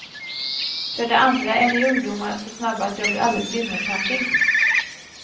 För det andra är ni ungdomar så snabba att jag blir alldeles vimmelkantig.